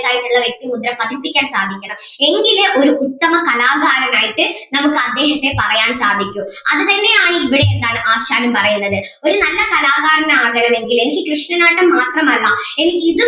വ്യക്തിമുദ്ര പതിപ്പിക്കാൻ സാധിക്കണം എങ്കിലേ ഒരു ഉത്തമ കലാകാരൻ ആയിട്ട് നമുക്ക് അദ്ദേഹത്തിനെ പറയാൻ സാധിക്കു അത് തന്നെ ആണ് ഇവിടെ എന്താണ് ആശാനും പറയുന്നത് ഒരു നല്ല കലാകാരൻ ആകണമെങ്കിൽ എനിക്ക് കൃഷ്ണനാട്ടം മാത്രം അല്ല എനിക്ക് ഇതും